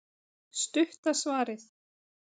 Stutta svarið